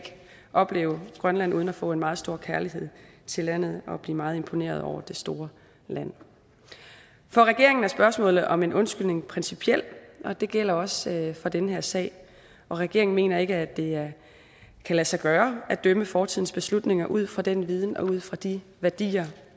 opleve grønland uden at få en meget stor kærlighed til landet og blive meget imponeret over det store land for regeringen er spørgsmålet om en undskyldning principielt og det gælder også i den her sag og regeringen mener ikke at det kan lade sig gøre at dømme fortidens beslutninger ud fra den viden og ud fra de værdier